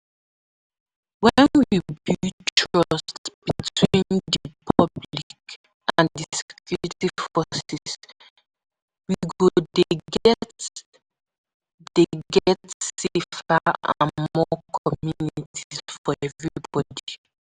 When we build trust between di public and security forces, we go dey get dey get safer and more communities for everybody.